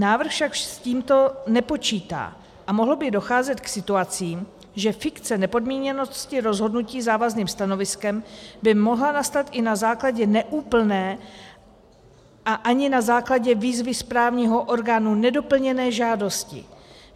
Návrh však s tímto nepočítá a mohlo by docházet k situacím, že fikce nepodmíněnosti rozhodnutí závazným stanoviskem by mohla nastat i na základě neúplné a ani na základě výzvy správního orgánu nedoplněné žádosti.